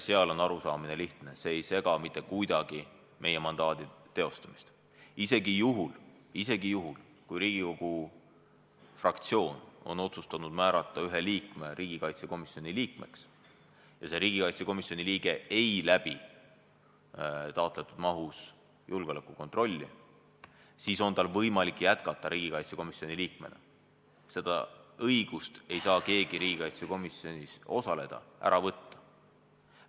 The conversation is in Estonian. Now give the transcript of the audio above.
Seal on arusaamine lihtne: see ei sega mitte kuidagi meie mandaadi teostamist – isegi juhul, kui Riigikogu fraktsioon on otsustanud määrata ühe liikme riigikaitsekomisjoni liikmeks ja see riigikaitsekomisjoni liige ei läbi taotletud mahus julgeolekukontrolli, siis on tal võimalik jätkata riigikaitsekomisjoni liikmena, õigust riigikaitsekomisjonis osaleda ei saa keegi ära võtta.